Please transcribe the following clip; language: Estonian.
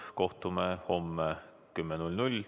Kohtume homme kell 10!